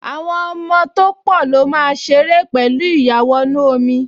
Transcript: Àwọn ọmọ tó pọ̀ ló máa ṣeré pẹ̀lú ìyàwọnù-ọmọ